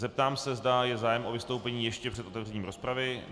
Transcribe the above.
Zeptám se, zda je zájem o vystoupení ještě před otevřením rozpravy.